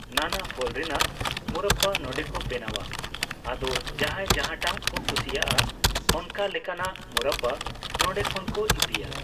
ᱱᱟᱱᱟ ᱯᱷᱚᱞ ᱨᱮᱱᱟᱜ ᱢᱚᱣᱨᱚᱵᱵᱟ ᱱᱚᱰᱮᱠᱚ ᱵᱮᱱᱟᱣᱟ ᱟᱫᱚ ᱡᱟᱦᱟᱸᱭ ᱡᱟᱦᱟᱸᱴᱟᱜ ᱠᱚ ᱠᱩᱥᱤᱭᱟᱜᱼᱟ ᱚᱱᱠᱟ ᱞᱮᱠᱟᱱᱟᱜ ᱢᱚᱣᱨᱚᱵᱵᱟ ᱱᱚᱰᱮᱠᱷᱚᱱ ᱠᱚ ᱤᱫᱤᱭᱟ